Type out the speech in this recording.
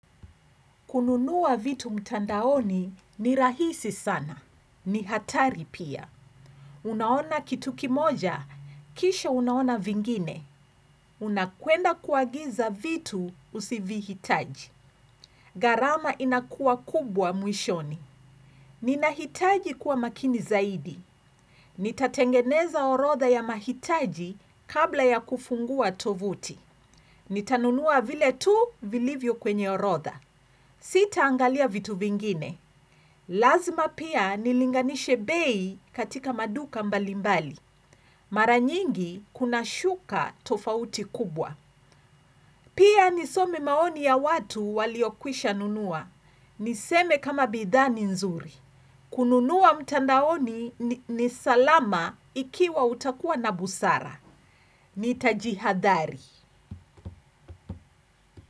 Kununua vitu mtandaoni ni rahisi sana. Ni hatari pia. Unaona kitu kimoja, kisha unaona vingine. Unakuenda kuagiza vitu usivihitaji. Gharama inakua kubwa mwishoni. Ninahitaji kuwa makini zaidi. Nitatengeneza orodha ya mahitaji kabla ya kufungua tovuti. Nitanunua vile tu vilivyo kwenye orodha. Sitaangalia vitu vingine. Lazima pia nilinganishe bei katika maduka mbalimbali. Mara nyingi kunashuka tofauti kubwa. Pia nisome maoni ya watu waliokwishanunua. Niseme kama bidhaa ni nzuri. Kununua mtandaoni ni salama ikiwa utakuwa na busara. Nitajihadhari.